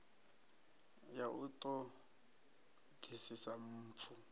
ya u ṱo ḓisisa mpfu